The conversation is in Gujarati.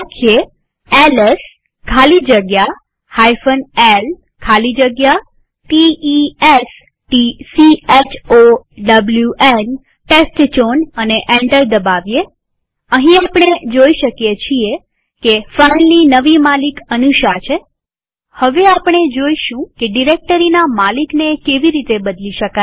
લખીએ હવે એલએસ ખાલી જગ્યા l ખાલી જગ્યા t e s t c h o w ન એન્ટર દબાવીએઅહીં આપણે જોઈ શકીએ છીએ કે ફાઈલની નવી માલિક અનુષા છે હવે આપણે જોઈશું કે ડિરેક્ટરીના માલિકને કેવી રીતે બદલી શકાય